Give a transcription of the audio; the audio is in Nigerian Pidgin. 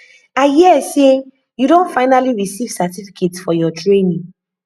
i hear say you don finally receive certificate for your training